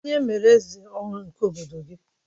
Kedụ onye e mere eze ọhụrụ nke obodo gị?